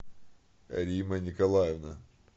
римма николаевна